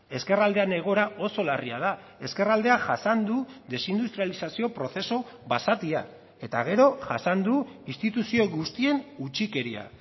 ezkerraldean egoera oso larria da ezkerraldeak jasan du desindustrializazio prozesu basatia eta gero jasan du instituzio guztien utzikeria